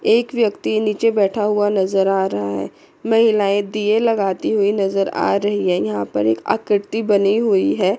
एक व्यक्ति नीचे बैठा हुआ नज़र आ रहा है महिलाएं दिये लगाती हुई नजर आ रही है यहां पे एक आकृति बनी हुई है।